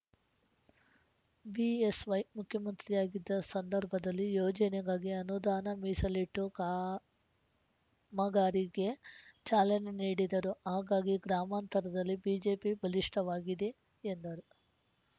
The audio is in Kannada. ಬಿಎಸ್‌ವೈ ಮುಖ್ಯಮಂತ್ರಿಯಾಗಿದ್ದ ಸಂದರ್ಭದಲ್ಲಿ ಯೋಜನೆಗಾಗಿ ಅನುದಾನ ಮೀಸಲಿಟ್ಟು ಕಾಮಗಾರಿಗೆ ಚಾಲನೆ ನೀಡಿದರು ಹಾಗಾಗಿ ಗ್ರಾಮಾಂತರದಲ್ಲಿ ಬಿಜೆಪಿ ಬಲಿಷ್ಠವಾಗಿದೆ ಎಂದರು